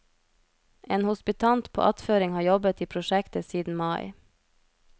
En hospitant på attføring har jobbet i prosjektet siden mai.